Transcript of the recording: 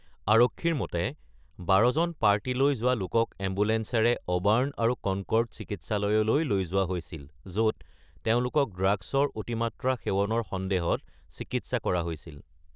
আৰক্ষীৰ মতে,১২ জন পাৰ্টিলৈ যোৱা লোকক এম্বুলেন্সেৰে অবাৰ্ন আৰু কনকৰ্ড চিকিৎসালয়লৈ লৈ যোৱা হৈছিল য’ত তেওঁলোকক ড্ৰাগছৰ অতিমাত্ৰা সেৱনৰ সন্দেহত চিকিৎসা কৰা হৈছিল।